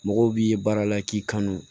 Mɔgɔw b'i ye baara la k'i kanu